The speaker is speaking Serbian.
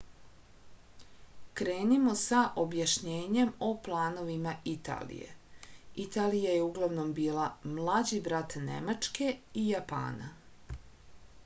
krenimo sa objašnjenjem o planovima italije italija je uglavnom bila mlađi brat nemačke i japana